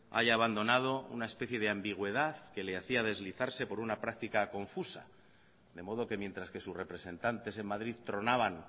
haya abandonado una especie de ambigüedad que le hacía deslizarse por una práctica confusa de modo que mientras que sus representantes en madrid tronaban